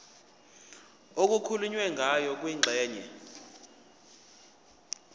okukhulunywe ngayo kwingxenye